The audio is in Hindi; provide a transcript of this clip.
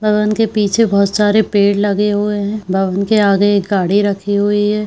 भवन के पीछे बहोत सारे पेड़ लगे हुए है भवन के आगे एक गाड़ी रखी हुई है।